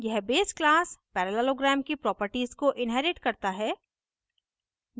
यह base class parallelogram की properties को inherits करता है